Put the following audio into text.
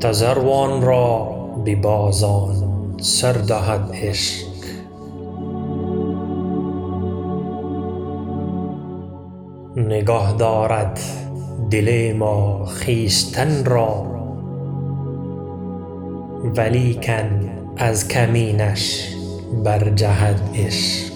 تذروان را ببازان سر دهد عشق نگه دارد دل ما خویشتن را ولیکن از کمینش بر جهد عشق